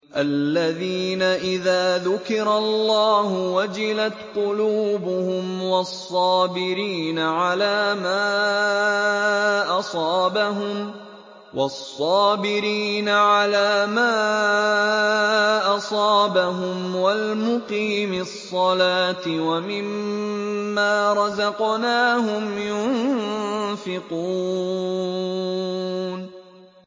الَّذِينَ إِذَا ذُكِرَ اللَّهُ وَجِلَتْ قُلُوبُهُمْ وَالصَّابِرِينَ عَلَىٰ مَا أَصَابَهُمْ وَالْمُقِيمِي الصَّلَاةِ وَمِمَّا رَزَقْنَاهُمْ يُنفِقُونَ